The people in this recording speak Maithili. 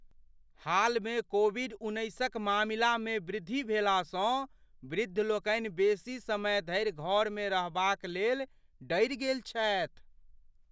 हालमे कोविड उन्नैसक मामिलामे वृद्धि भेलासँ वृद्धलोकनि बेसी समय धरि घरमे रहबाक लेल डरि गेल छथि।